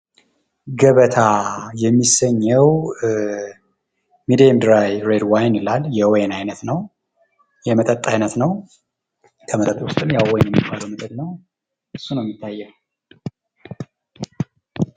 ገበታ የሚሰኘዉ ፤ የወይን አይነት ነው፣ የመጠጥ አይነት ነው ፣ ከመጠጥም የወይን አይነት ነው እሱ ነው የሚታየዉ።